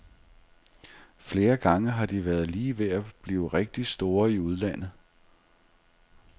Flere gange har de været lige ved at blive rigtig store i udlandet.